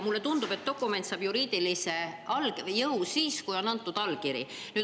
Mulle tundub, et dokument saab juriidilise jõu siis, kui sellele on antud allkiri.